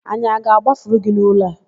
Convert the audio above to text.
Anyị aga agbafuru gị n'ụlọ a?